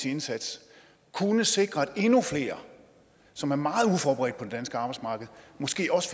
indsats kunne sikre at endnu flere som er meget uforberedt på det danske arbejdsmarked måske også